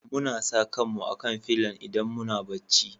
Muna sa kan mu a'kan filon idan muna bacci.